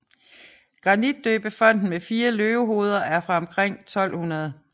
Grantidøbefonten med fire løvehoveder er fra omkring 1200